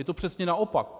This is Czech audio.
Je to přesně naopak.